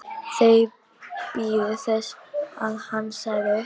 Þeir biðu þess að hann stæði upp.